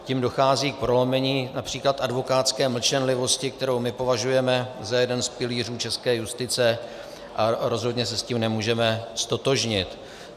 Tím dochází k prolomení například advokátské mlčenlivosti, kterou my považujeme za jeden z pilířů české justice, a rozhodně se s tím nemůžeme ztotožnit.